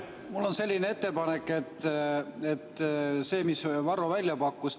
Mul on ettepanek selle kohta, mis Varro välja pakkus.